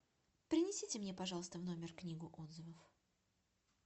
принесите мне пожалуйста в номер книгу отзывов